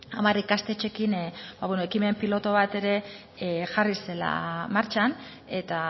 hamar ikastetxeekin ekimen pilotu bat ere jarri zela martxan eta